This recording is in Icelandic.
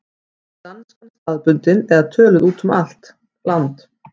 Var danskan staðbundin eða töluð út um allt land?